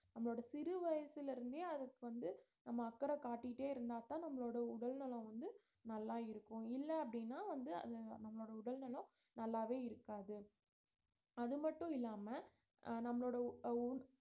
நம்மளோட சிறு வயசுல இருந்தே அதுக்கு வந்து நம்ப அக்கறை காட்டிட்டே இருந்தாதான் நம்மளோட உடல்நலம் வந்து நல்லா இருக்கும் இல்ல அப்படின்னா வந்து அது நம்மளோட உடல்நலம் நல்லாவே இருக்காது அது மட்டும் இல்லாம அஹ் நம்மளோட உ~